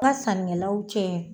N ka sannikɛlaw cɛ